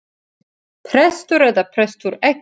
Prestur eða prestur ekki.